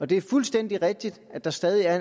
det er fuldstændig rigtigt at der stadig er